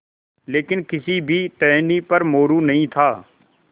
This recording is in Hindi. लेकिन किसी भी टहनी पर मोरू नहीं था